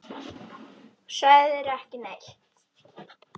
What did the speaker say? Þú sagðir ekki neitt.